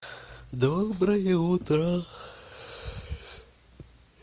доброе утро